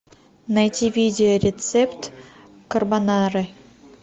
найти видео рецепт карбонары